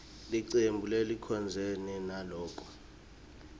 licembu lelicondzene naloko